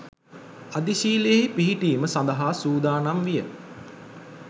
අධිශීලයෙහි පිහිටීම සඳහා සූදානම් විය.